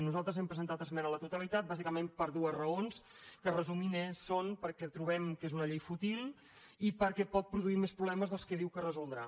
nosaltres hem presentat esmena a la totalitat bàsicament per dues raons que resumint són perquè trobem que és una llei fútil i perquè pot produir més problemes dels que diu que resoldrà